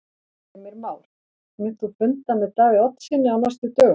Heimir Már: Munt þú funda með Davíð Oddssyni á næstu dögum?